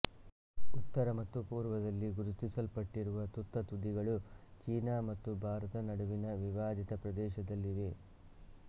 ಉತ್ತರ ಮತ್ತು ಪೂರ್ವದಲ್ಲಿ ಗುರುತಿಸಲ್ಪಟ್ಟಿರುವ ತುತ್ತತುದಿಗಳು ಚೀನಾ ಮತ್ತು ಭಾರತ ನಡುವಿನ ವಿವಾದಿತ ಪ್ರದೇಶದಲ್ಲಿವೆ